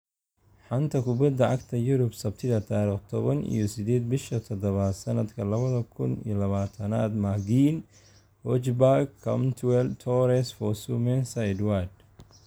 Xanta kubbada cagta Yurub Sabtida tariq toban iyo sideed bisha tadabad sanadka labada kun iyo labatanad McGinn, Hojbjerg, Cantwell, Torres, Fosu-Mensah, Edouard